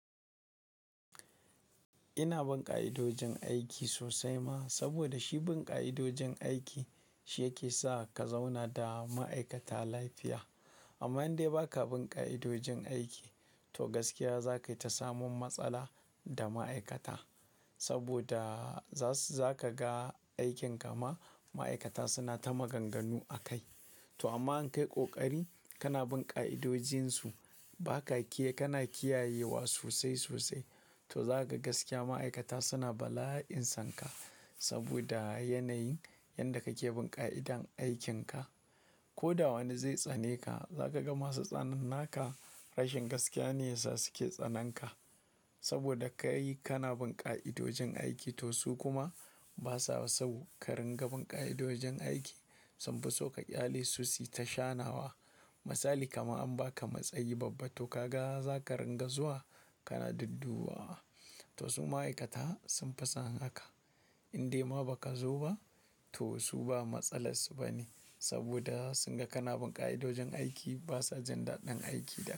Ina bin ka'idojin aiki sosai ma, saboda shi bin ka'idojin aiki shi yake sa ka zauna da ma'aikata lafiya. Amma in dai ba ka bin ƙa'idojin aiki, to gaskiya za ka yi ta samun matsala da ma'aikata. Saboda, za su-- za ka ga aikin ka ma, ma'aikata suna ta maganganu a kai. To amma in ka yi ƙoƙari, kana bin ƙa'idojinsu, ba ka ke-- kana kiyayewa sosai sosai, to za ka ga gaskiya ma'aikata suna bala'in san ka. Saboda yanayin yanda kake bin ƙa'idan aikin ka. Ko da wani zai tsane ka, za ka ga masu tsanan naka, rashin gaskiya ne yasa suke tsanan ka. Saboda kai-- kana bin ƙa'idojin aiki, to su kuma ba sa so ka rinƙa bin ƙa'idojin aiki, sun fi so ka ƙyale su su yi ta shanawa. Misali kaman an ba ka matsayi babba to ka ga za ka ringa zuwa kana duddubawa. To su ma'aikata sun fi son haka. In dai ma ba ka zo ba, to su ba matsalar su ba ne, saboda sun ga kana bin ƙa'idojin aiki ba sa jin daɗin aiki da,